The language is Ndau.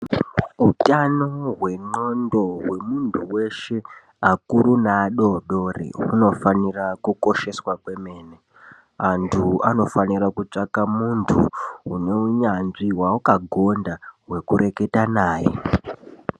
Utano hwendxondo hwemuntu weshe akuru neadodori hunofanire kukosheswa kwemene antu anofanira kutsvaka muntu une unyanzvi wawakagonda wekureketa naye.